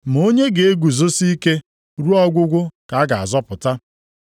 Ma onye ga-eguzosi ike ruo ọgwụgwụ ka a ga-azọpụta.